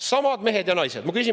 Samad mehed ja naised!